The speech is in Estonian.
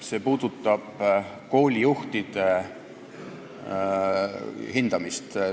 See puudutab koolijuhtide hindamist.